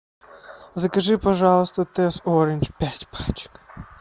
закажи пожалуйста тесс оранж пять пачек